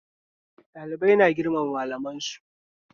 Ɗalibai na girmama malaman su